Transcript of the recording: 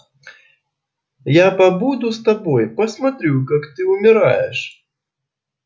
я побуду с тобой посмотрю как ты умираешь